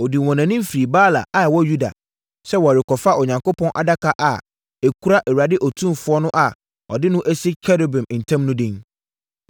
Ɔdii wɔn anim firi Baala a ɛwɔ Yuda, sɛ wɔrekɔfa Onyankopɔn Adaka a ɛkura Awurade Otumfoɔ no a wɔde no asi Kerubim ntam no din.